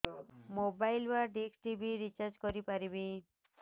mobile ବା dish TV recharge କରି ପାରିବି